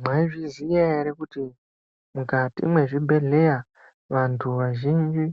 Mwaizviziya ere kuti mwukati mwezvibhedhleya vantu vazhinji